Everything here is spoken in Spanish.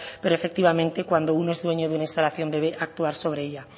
pero efectivamente cuando uno es dueño de una instalación debe actuar sobre ella